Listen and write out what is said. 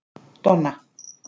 Donna